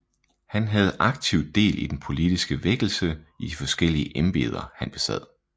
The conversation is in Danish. Han havde aktivt del i den politiske vækkelse i de forskellige embeder han besad